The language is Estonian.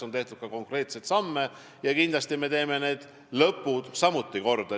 On tehtud ka konkreetseid samme ja kindlasti me teeme need viimased asjad samuti korda.